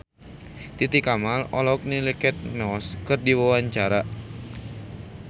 Titi Kamal olohok ningali Kate Moss keur diwawancara